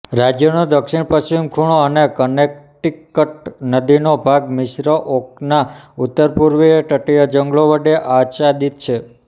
રાજ્યનો દક્ષિણપશ્ચિમ ખૂણો અને કનેક્ટિકટ નદીનો ભાગ મિશ્ર ઓકના ઉત્તરપૂર્વીય તટીય જંગલો વડે આચ્છાદિત છે